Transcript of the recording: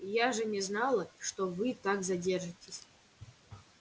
я же не знала что вы так задержитесь